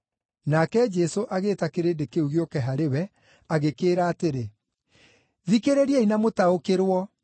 Nake Jesũ agĩĩta kĩrĩndĩ kĩu gĩũke harĩ we, agĩkĩĩra atĩrĩ, “Thikĩrĩriai na mũtaũkĩrwo.